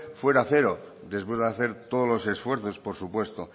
fuera cero después de hacer todos los esfuerzos por supuesto